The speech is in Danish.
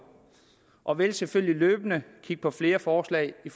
og vil selvfølgelig løbende kigge på flere forslag i